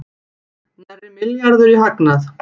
Nærri milljarður í hagnað